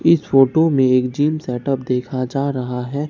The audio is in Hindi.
इस फोटो में एक जिम सेटअप देखा जा रहा है।